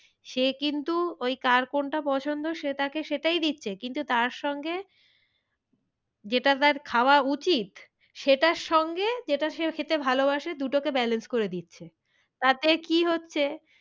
সে কিন্তু ওই কার কোনটা পছন্দ সে তাকে সেটাই দিচ্ছে কিন্তু তার সঙ্গে যেটা তার খাওয়া উচিত সেটার সঙ্গে যেটা সে খেতে ভালোবাসে দুটোকে balance করে দিচ্ছে। তাতে কি হচ্ছে,